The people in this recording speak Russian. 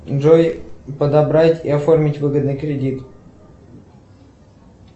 джой подобрать и оформить выгодный кредит